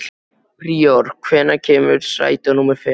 Príor, hvenær kemur strætó númer fimm?